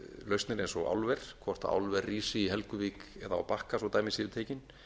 lausnir eins og álver hvort álver rísi í helguvík eða á bakka svo dæmi séu tekin